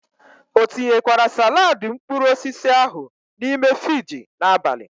O tinyekwara salaadi mkpuruosisi ahu n'ime Fiji n'abali?